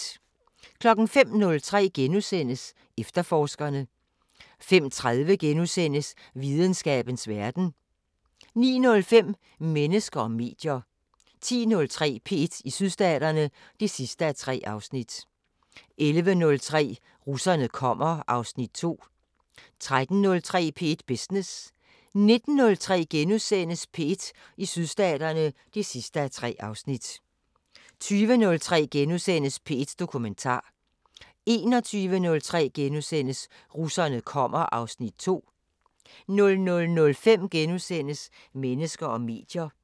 05:03: Efterforskerne * 05:30: Videnskabens Verden * 09:05: Mennesker og medier 10:03: P1 i Sydstaterne (3:3) 11:03: Russerne kommer (Afs. 2) 13:03: P1 Business 19:03: P1 i Sydstaterne (3:3)* 20:03: P1 Dokumentar * 21:03: Russerne kommer (Afs. 2)* 00:05: Mennesker og medier *